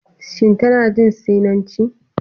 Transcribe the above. Sin tana jin Sinanci.